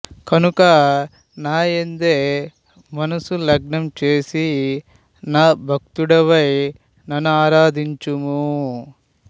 కనుక నాయందే మనసు లగ్నం చేసి నా భక్తుడవై నన్నారాధించుము